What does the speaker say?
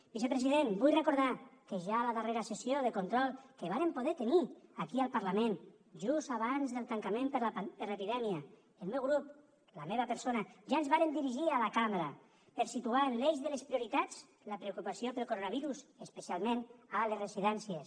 vicepresident vull recordar que ja a la darrera sessió de control que vàrem poder tenir aquí al parlament just abans del tancament per l’epidèmia el meu grup la meva persona ja ens vàrem dirigir a la cambra per a situar en l’eix de les prioritats la preocupació pel coronavirus especialment a les residències